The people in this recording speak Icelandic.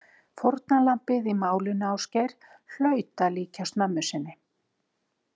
Fórnarlambið í málinu Ásgeir hlaut að líkjast mömmu sinni.